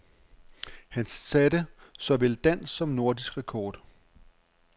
Han satte såvel dansk som nordisk rekord.